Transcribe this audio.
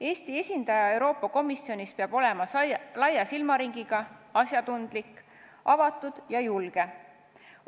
Eesti esindaja Euroopa Komisjonis peab olema laia silmaringiga, asjatundlik, avatud ja julge.